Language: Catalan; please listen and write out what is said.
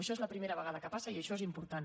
això és la primera vegada que passa i això és important